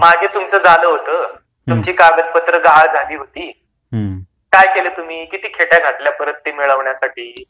मागे तुमच झाल होत अस तुमची कागदपत्र गहाळ झाली होती, काय केल तुम्ही? किती खेटया घातल्या परत ते मिळवण्यासाठी?